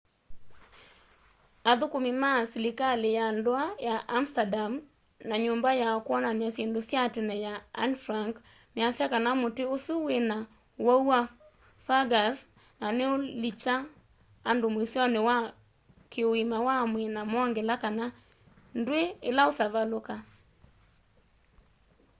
athukumi ma silikali ya ndua ya amsterdam na nyũmba ya kwonany'a syĩndũ sya tene ya anne frank measya kana muti usu wina uwau wa fungus na niulikya andu muisyoni wa ki uima wa mwii na mongela kana ndwi ila utavaluka